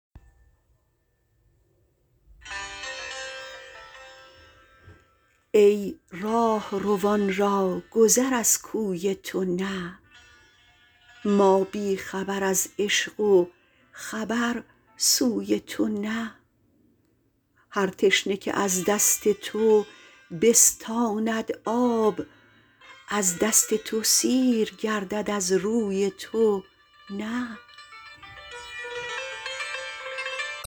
ای راهروان را گذر از کوی تو نه ما بیخبر از عشق و خبر سوی تو نه هر تشنه که از دست تو بستاند آب از دست تو سیر گردد از روی تو نه